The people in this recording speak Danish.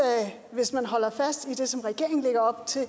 hvis man holder fast i det som regeringen lægger op til